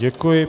Děkuji.